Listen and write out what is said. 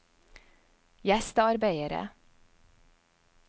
gjestearbeidere